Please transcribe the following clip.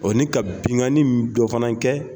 O ni ka binkanni dɔ fana kɛ